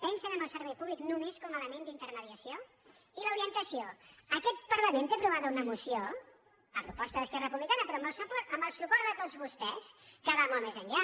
pensen en el servei públic només com a element d’intermediació i l’orientació aquest parlament té aprovada una moció a proposta d’esquerra republicana però amb el suport de tots vostès que va molt més enllà